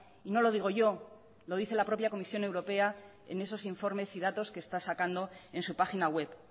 y no lo digo yo lo dice la propia comisión europea en esos informes y datos que está sacando en su página web